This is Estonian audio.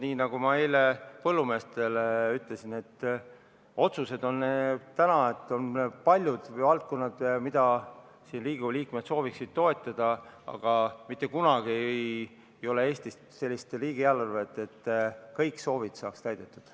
Nii nagu ma eile põllumeestele ütlesin, on palju valdkondi, mida Riigikogu liikmed sooviksid toetada, aga mitte kunagi ei ole Eestis sellist riigieelarvet, et kõik soovid saaksid täidetud.